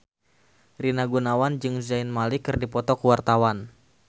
Rina Gunawan jeung Zayn Malik keur dipoto ku wartawan